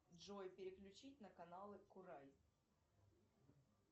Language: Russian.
джой переключить на каналы курай